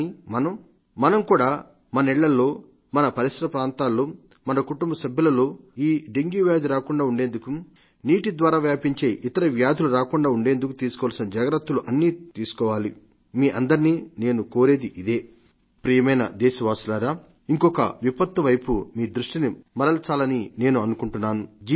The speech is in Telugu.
కానీ మనం మనం కూడా మన ఇళల్లో మన పరిసర ప్రాంతాల్లో మన కుటుంబ సభ్యులతో ఈ డెంగ్యూ రాకుండా ఉండేందుకు నీటి ద్వారా వ్యాపించే ఇతర వ్యాధులు రాకుండా ఉండేందుకు తీసుకోవలసిన జాగ్రత్తలు అన్నీ తీసుకోవాలి మీ అందరినీ నేను కోరేది ఇదే ప్రియమైన దేశవాసులారా ఇంకొక విపత్తు వైపు మీ దృష్టిని మరల్చాలని నేను అనుకుంటున్నాను